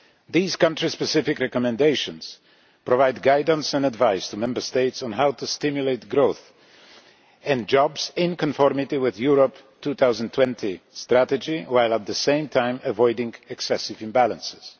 These country-specific recommendations provide guidance and advice to Member States on how to stimulate growth and jobs in conformity with the Europe 2020 Strategy, while at the same time avoiding excessive imbalances.